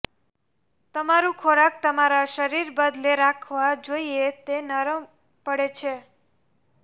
તમારું ખોરાક તમારા શરીર બદલે રાખવા જોઈએ તે નરમ પડે છે